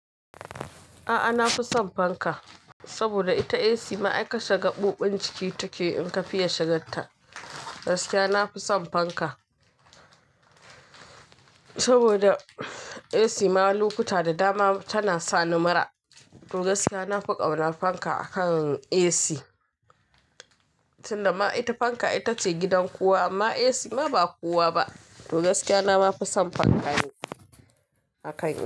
A'a, na fi son fanka saboda ita AC ma ai kashe gaɓoɓin jiki take in ka fiya shiganta. Gaskiya na fi son fanka saboda AC ma lokuta da dama tana sa ni mura. To gaskiya na fi ƙauna fanka akan AC. Tunda ma ita fanka itace gidan kowa amma AC ma ba kowa ba. To gaskiya na ma fi son fanka ne akan AC.